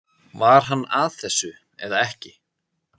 Var hann að þessu eða ekki?